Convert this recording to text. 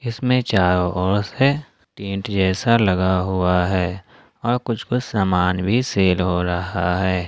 इसमें चारों ओर से टेंट जैसा लगा हुआ है और कुछ कुछ सामान भी सेल हो रहा है।